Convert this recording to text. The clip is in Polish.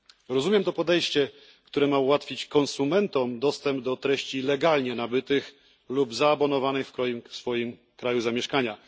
Rozumiem to podejście, które ma ułatwić konsumentom dostęp do treści legalnie nabytych lub zaabonowanych w swoim kraju zamieszkania.